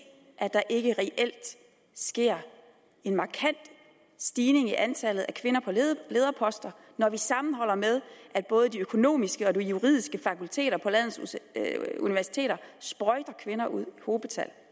at der ikke reelt sker en markant stigning i antallet af kvinder på lederposter når vi sammenholder med at både de økonomiske og de juridiske fakulteter på landets universiteter sprøjter kvinder ud i hobetal